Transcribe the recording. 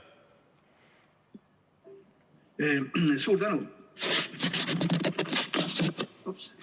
Suur tänu!